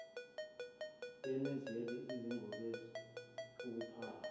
yenezela izinongobese ukuphaka